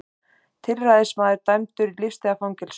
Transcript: Tilræðismaður dæmdur í lífstíðarfangelsi